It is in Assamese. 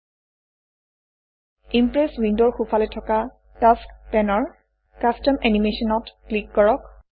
ইম্প্ৰেছ ইমপ্ৰেছ উইণ্ডৰ সোঁফালে থকা টাস্কছ পেনৰ কাষ্টম এনিমেশ্যন ত ক্লিক কৰক